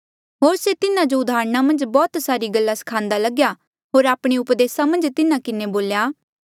होर से तिन्हा जो उदाहरणा मन्झ बौह्त सारी गल्ला स्खान्दा लग्या होर आपणे उपदेसा मन्झ तिन्हा किन्हें बोल्या